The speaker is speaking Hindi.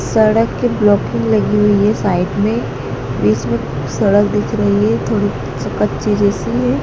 सड़क के ब्लॉकिंग लगी हुई है साइड में जिसमें सड़क दिख रही है थोड़ी सी कच्ची जैसी है।